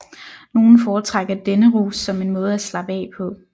Nogle foretrækker denne rus som en måde at slappe af på